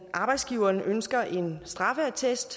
arbejdsgiveren ønsker en straffeattest